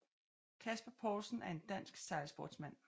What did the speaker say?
Kasper Paulsen er en dansk sejlsportsmand